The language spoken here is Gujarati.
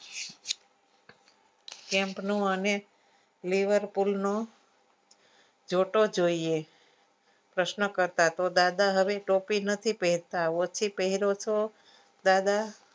camp નું અને lever pull નું જોટો જોઈએ પ્રશ્ન કરતા દાદા તો હવે ટોપી નથી પહેરતા ઓછી પહેરો છો દાદા